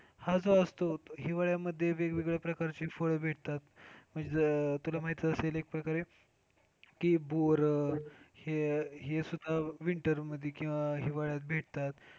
हा जो असतो हिवाळ्यामध्ये वेगवेगळ्या प्रकारचे फळ भेटतात. म्हणजे तुला माहीतच असेल एक प्रकारे ते बोरं हे, हे सुद्धा winter किंवा हिवाळ्यात भेटतात.